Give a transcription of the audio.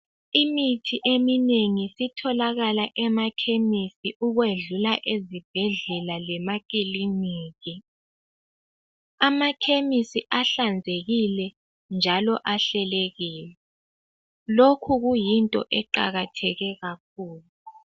Imithi eminengi isitholakala emakhemisi ukwedlula ezibhedlela lemakiliniki. Amakhemisi ahlanzekile njalo ahlelekile, lokhu kuyinto eqakatheke kakhulu.